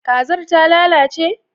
kazar ta lalace?